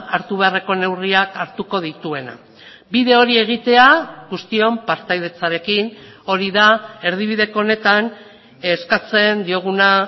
hartu beharreko neurriak hartuko dituena bide hori egitea guztion partaidetzarekin hori da erdibideko honetan eskatzen dioguna